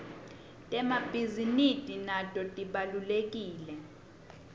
temabhizi nidi nato tibawlekile